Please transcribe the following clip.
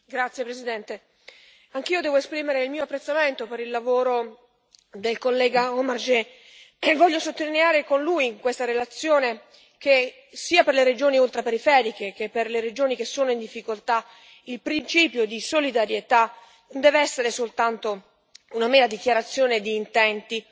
Signor Presidente, onorevoli colleghi, anch'io devo esprimere il mio apprezzamento per il lavoro del collega Omarjee e voglio sottolineare con lui in questa relazione che, sia per le regioni ultraperiferiche che per le regioni che sono in difficoltà, il principio di solidarietà non deve essere soltanto una mera dichiarazione di intenti,